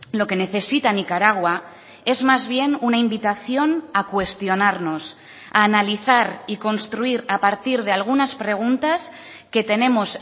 lo que necesita nicaragua es más bien una invitación a cuestionarnos a analizar y construir a partir de algunas preguntas que tenemos